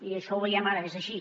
i això ho veiem ara és així